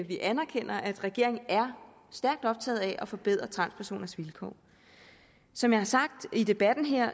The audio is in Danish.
vi anerkender at regeringen er stærkt optaget af at forbedre transpersoners vilkår som jeg har sagt i debatten her